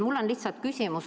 Mul on selline küsimus.